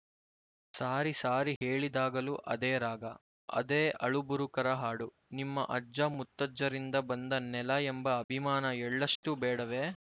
ಸಾರಿ ಸಾರಿ ಹೇಳಿದಾಗಲೂ ಅದೇ ರಾಗ ಅದೇ ಅಳುಬುರುಕರ ಹಾಡು ನಿಮ್ಮ ಅಜ್ಜ ಮುತ್ತಜ್ಜರಿಂದ ಬಂದ ನೆಲ ಎಂಬ ಅಭಿಮಾನ ಎಳ್ಳಷ್ಟೂ ಬೇಡವೇ